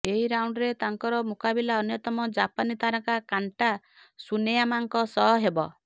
ଏହି ରାଉଣ୍ଡରେ ତାଙ୍କର ମୁକାବିଲା ଅନ୍ୟତମ ଜାପାନୀ ତାରକା କାଣ୍ଟା ସୁନେୟାମାଙ୍କ ସହ ହେବ